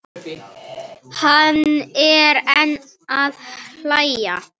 Hann er enn að hlæja.